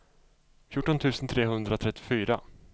fjorton tusen trehundratrettiofyra